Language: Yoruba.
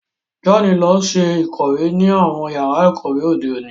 John lọ ṣe ikọwe ni awọn yàrà ikọwe òde òní